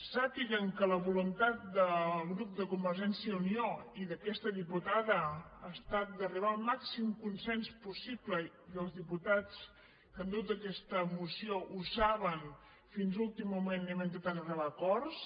sàpiguen que la voluntat del grup de convergència i unió i d’aquesta diputada ha estat d’arribar al màxim consens possible i els diputats que han dut aquesta moció ho saben fins a l’últim moment hem intentat arribar a acords